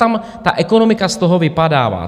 Tam ta ekonomika z toho vypadává.